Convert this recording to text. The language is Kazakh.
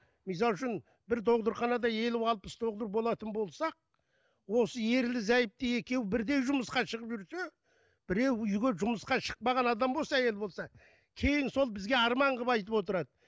мысалы үшін бір елу алпыс болатын болсақ осы ерлі зайыпты екеуі бірдей жұмысқа шығып жүрсе біреу үйге жұмысқа шықпаған адам болса әйел болса кейін сол бізге арман қылып айтып отырады